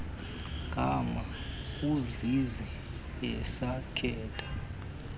gama uzizi esakhetha